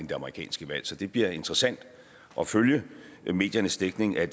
det amerikanske valg så det bliver interessant at følge mediernes dækning af